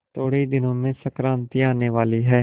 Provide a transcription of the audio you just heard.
थोड़े ही दिनों में संक्रांति आने वाली है